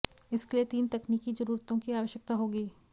इसके लिए तीन तकनीकी जरूरतों की आवश्यकता होगी